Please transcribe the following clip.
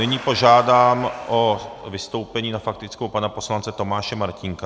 Nyní požádám o vystoupení na faktickou pana poslance Tomáše Martínka.